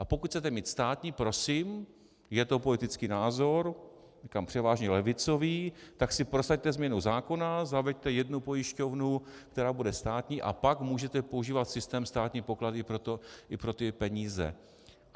A pokud chcete mít státní, prosím, je to politický názor, říkám převážně levicový, tak si prosaďte změnu zákona, zaveďte jednu pojišťovnu, která bude státní, a pak můžete používat systém státní pokladny i pro ty peníze.